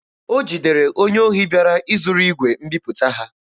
O jidere onye ohi bịara izuru igwe mbiputa ha.